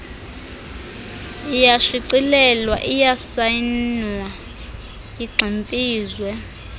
iyashicilelwa isayinwe igximfizwe